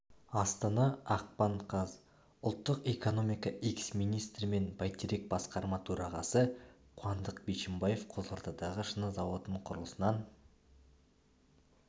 астана ақпан қаз ұлттық экономика экс-министрі мен байтерек басқарма төрағасы қуандық бишімбаев қызылордадағы шыны зауытының құрылысынан